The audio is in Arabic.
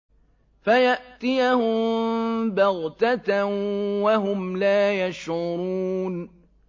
فَيَأْتِيَهُم بَغْتَةً وَهُمْ لَا يَشْعُرُونَ